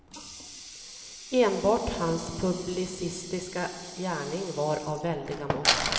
Enbart hans publicistiska gärning var av väldiga mått.